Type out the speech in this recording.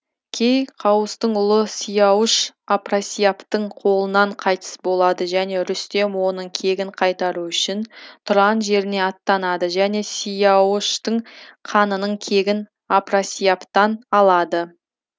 кей қауыстың ұлы сияуыш апрасияптың қолынан қайтыс болады және рүстем оның кегін қайтару үшін тұран жеріне аттанады және сияуыштың қанының кегін апрасияптан алады